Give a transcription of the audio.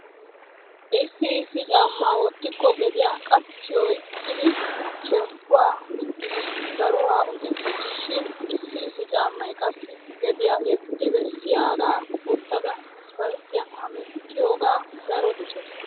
Issi issi caammaa wottikko gediya qachxhi oyqqidi shemppuwa diggidi daruwa un"ettees. Shin issi issi caammay qassi gediya yeddi bessiyagaa wottada isppalttiyan hemettiyoga daro dosays.